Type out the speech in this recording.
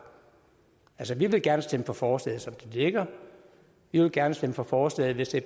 altså vi vil gerne stemme for forslaget som det ligger vi vil gerne stemme for forslaget hvis det